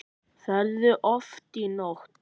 Ferðu oft í nudd?